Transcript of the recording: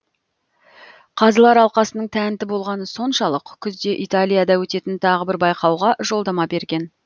қазылар алқасының тәнті болғаны соншалық күзде италияда өтетін тағы бір байқауға жолдама берген